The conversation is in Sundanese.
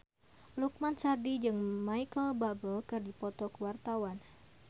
Lukman Sardi jeung Micheal Bubble keur dipoto ku wartawan